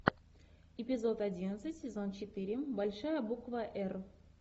эпизод одиннадцать сезон четыре большая буква р